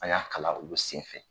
A y'a kalan olu senfɛ